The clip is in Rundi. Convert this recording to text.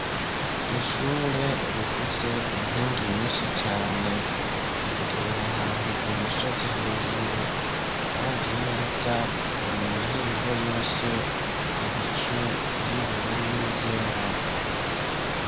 Ishure rifise inkingi nyinshi cane. Riherereye ahantu ku musozi hejuru. Uravye neza ubona imihingo yose, ibicu vy'ubururu n'ivyera.